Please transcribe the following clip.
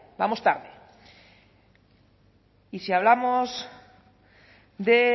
vamos tarde y si hablamos de